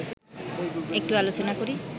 একটু আলোচনা করি